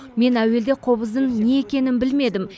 мен әуелде қобыздың не екенін білмедім